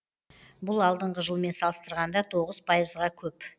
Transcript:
бұл алдыңғы жылмен салыстырғанда тоғыз пайызға көп